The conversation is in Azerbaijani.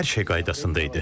Hər şey qaydasında idi.